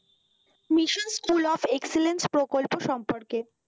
mission school of excellence প্রকল্প সম্পর্কে,